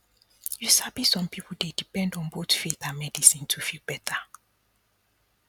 you sabi some people dey depend on both faith and and medicine to feel better